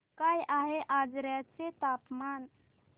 काय आहे आजर्याचे तापमान